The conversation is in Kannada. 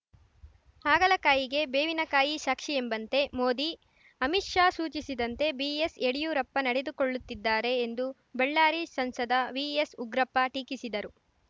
ಹಾಗಲಕಾಯಿಗೆ ಬೇವಿನ ಕಾಯಿ ಸಾಕ್ಷಿಯೆಂಬಂತೆ ಮೋದಿ ಅಮಿತ್‌ ಶಾ ಸೂಚಿಸಿದಂತೆ ಬಿಎಸ್‌ ಯಡಿಯೂರಪ್ಪ ನಡೆದುಕೊಳ್ಳುತ್ತಿದ್ದಾರೆ ಎಂದು ಬಳ್ಳಾರಿ ಸಂಸದ ವಿಎಸ್‌ ಉಗ್ರಪ್ಪ ಟೀಕಿಸಿದರು